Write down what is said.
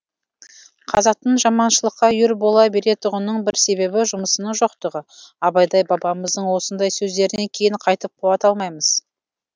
қазақтың жаманшылыққа үйір бола беретұғынының бір себебі жұмысының жоқтығы абайдай бабамыздың осындай сөздерінен кейін қайтіп қуат алмаймыз